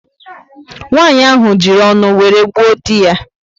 Nwanyị ahụ ji ọṅụ wéré gbuo dị ya